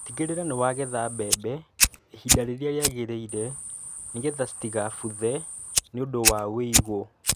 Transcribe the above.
Tigĩrĩra nĩwagetha mbembe ihinda rĩrĩa rĩagĩrĩire nĩ getha citigabuthe nĩ ũndũ wa wũigũ.